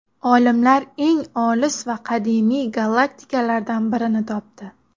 Olimlar eng olis va qadimiy galaktikalardan birini topdi.